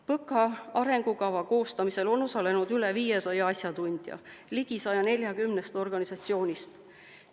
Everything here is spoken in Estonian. PõKa arengukava koostamisel on osalenud üle 500 asjatundja ligi 140 organisatsioonist.